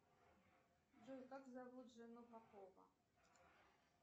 джой как зовут жену попова